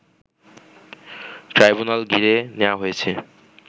tribunal ঘিরে নেয়া হয়েছে